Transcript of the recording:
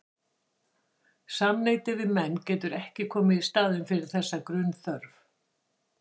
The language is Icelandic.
Samneyti við menn getur ekki komið í staðinn fyrir þessa grunnþörf.